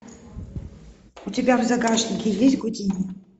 у тебя в загашнике есть гудини